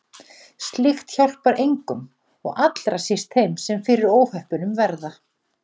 Slíkt hjálpar engum og allra síst þeim sem fyrir óhöppunum verða.